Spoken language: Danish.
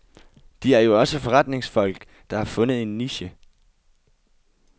De er jo også forretningsfolk, der har fundet en niche.